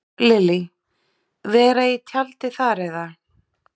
Lillý: Vera í tjaldi þar eða?